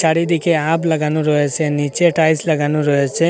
চারিদিকে লাগানো রয়েছে নিচে টাইলস লাগানো রয়েসে।